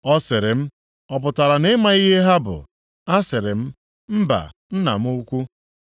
Ọ sịrị m, “Ọ pụtara na ị maghị ihe ha bụ?” Asịrị m, “Mba, nna m ukwu.”